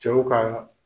Cɛw ka